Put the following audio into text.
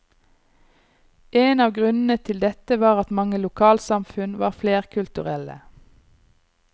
En av grunnene til dette var at mange lokalsamfunn var flerkulturelle.